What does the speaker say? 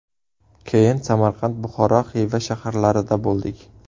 Keyin Samarqand, Buxoro, Xiva shaharlarida bo‘ldik.